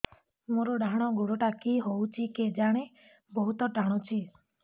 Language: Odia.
ମୋର୍ ଡାହାଣ୍ ଗୋଡ଼ଟା କି ହଉଚି କେଜାଣେ ବହୁତ୍ ଟାଣୁଛି